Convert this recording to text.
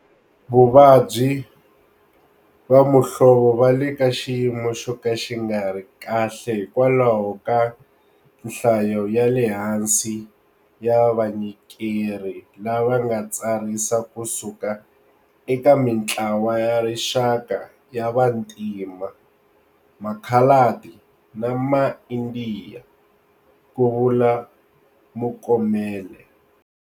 Vavabyi va muhlovo va le ka xiyimo xo ka xi nga ri kahle hikwalaho ka nhlayo ya le hansi ya vanyikeri lava nga tsarisa kusuka eka mitlawa ya rixaka ya vantima, makhaladi na maIndiya, ku vula Mokomele.